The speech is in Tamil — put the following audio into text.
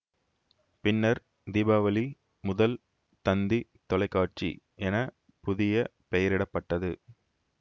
பின்னர் தீபாவளி முதல் தந்தி தொலைக்காட்சி என புதிய பெயரிட பட்டது